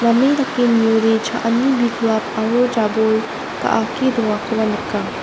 name dake niode cha·ani biklap aro jabol ga·ake dongakoba nika.